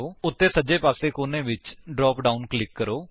ਉੱਤੇ ਸੱਜੇ ਪਾਸੇ ਕੋਨੇ ਵਿਚ ਡਰਾਪ ਡਾਉਨ ਕਲਿਕ ਕਰੋ